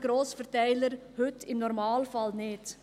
Die Grossverteiler können dies heute im Normalfall nicht.